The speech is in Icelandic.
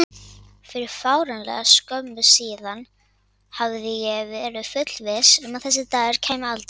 Fyrir fáránlega skömmu síðan hafði ég verið þess fullviss að þessi dagur kæmi aldrei.